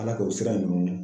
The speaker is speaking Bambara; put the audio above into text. Ala k'o sira ninnu